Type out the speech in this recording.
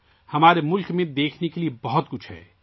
ہمارے ملک میں دیکھنے کو بہت کچھ ہے